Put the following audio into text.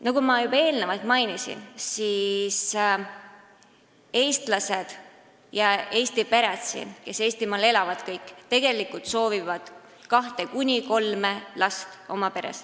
Nagu ma juba enne mainisin, soovivad eestlased ja Eesti pered – kõik, kes siin Eestimaal elavad – tegelikult kahte kuni kolme last.